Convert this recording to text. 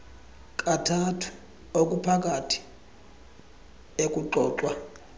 kathathu okuphakathi ekuxoxwa